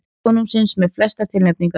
Ræða konungsins með flestar tilnefningar